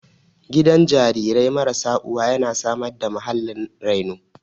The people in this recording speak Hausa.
Gidan jarirai marasa uwa yana samar da muhallin reno